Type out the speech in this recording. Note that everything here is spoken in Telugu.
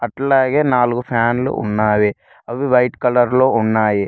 అట్లాగే నాలుగు ఫ్యాన్లు ఉన్నాయి అవి వైట్ కలర్ లో ఉన్నాయి.